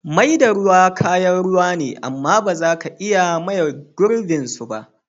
Mai da ruwa kayan ruwa ne, amm ba za ka iya maye girbin su ba.